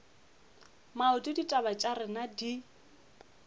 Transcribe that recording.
maoto ditaba tša rena di